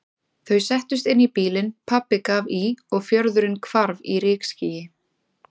Þau settust inn í bílinn, pabbi gaf í og fjörðurinn hvarf í rykskýi.